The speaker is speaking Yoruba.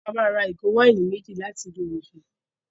A máa ra ìgò wáìnì méjì ní ilé-ooúnjẹ.